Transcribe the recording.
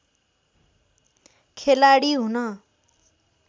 खेलाडी हुन